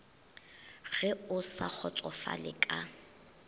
ge o sa kgotsofale ka